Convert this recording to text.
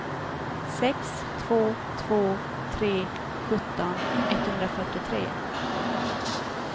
sex två två tre sjutton etthundrafyrtiotre